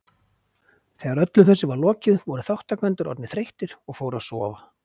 Þegar öllu þessu var lokið voru þátttakendur orðnir þreyttir og fóru að sofa.